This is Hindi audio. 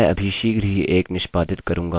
तो चलिए शुरू करते हैं